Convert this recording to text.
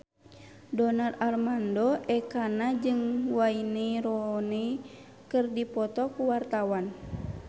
Donar Armando Ekana jeung Wayne Rooney keur dipoto ku wartawan